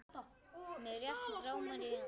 Mig rétt rámar í hann.